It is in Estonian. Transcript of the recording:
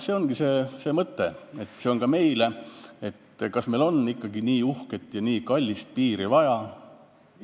See ongi see mõte, see on mõtlemiseks ka meile, kas meil on ikkagi nii uhket ja nii kallist piiri vaja.